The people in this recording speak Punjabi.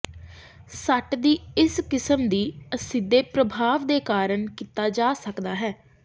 ਸੱਟ ਦੀ ਇਸ ਕਿਸਮ ਦੀ ਅਸਿੱਧੇ ਪ੍ਰਭਾਵ ਦੇ ਕਾਰਨ ਕੀਤਾ ਜਾ ਸਕਦਾ ਹੈ